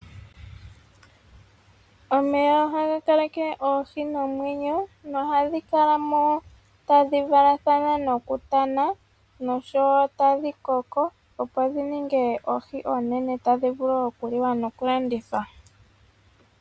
Omeya ohaga kaleke oohi nomwenyo. Nohadhi kala mo tadhi valathana oluvalo nokutana. Nosho wo tadhi koko opo dhi ninge oohi oonene tadhi vulu okuliwa noku landithwa.